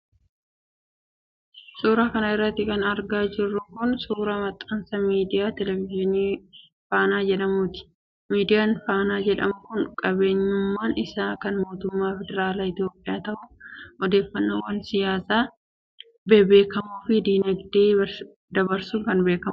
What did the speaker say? Suura kana irratti kan argaa jirru kun ,suura maxxansa miidiyaa teleevizyinii Faana jedhamuuti. Miidiyaan faanaa jedhamu kun qabeenyummaan isaa kan mootummaa federaalaa Itoophiyaa ta'u, odeefannoowwan siyaasaa ,hawaasummaa fi diinagdee dabarsuun kan beekamuudha.